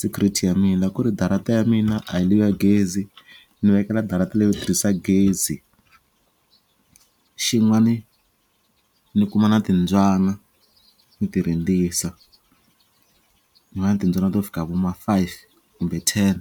security ya mina ku ri darata ya mina a hi liya gezi ni vekela darata leyo tirhisa gezi xin'wani ni kuma na timbyana ni ti rindzisa tin'wani timbyana to fika vo ma five kumbe ten.